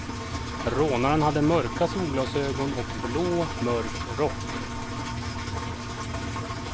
Rånaren hade mörka solglasögon och blå, mörk rock.